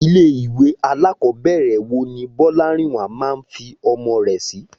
Ilé ìwé alákọ̀ọ́bẹ̀rẹ̀ wo ni Bọ́lárìnwá máa fi ọmọ rẹ̀ sí?